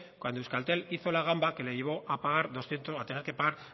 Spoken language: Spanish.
cuando euskaltel hizo la gamba que le llevó a tener que pagar